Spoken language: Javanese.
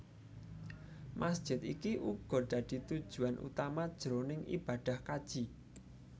Masjid iki uga dadi tujuan utama jroning ibadah kaji